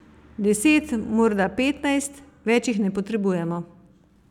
Deset, morda petnajst, več jih ne potrebujemo.